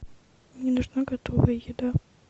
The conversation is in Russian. мне нужна готовая еда